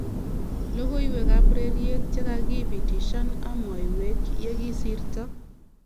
Logoiwek ab ureriet chekakibitishan amwoywek yekisirto.